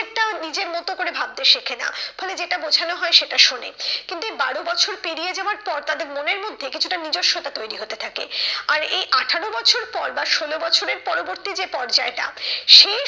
নিজের মতো করে ভাবতে শেখে না। ফলে যেটা বোঝানো হয় সেটা শোনে। কিন্তু এই বারো বছর পেরিয়ে যাওয়ার পর তাদের মনের মধ্যে কিছুটা নিজস্বতা তৈরী হতে থাকে আর এই আঠারো বছর পর বা ষোলো বছরের পরবর্তী যে পর্যায়টা সেই